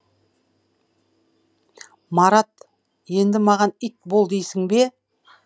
марат енді маған ит бол дейсің бе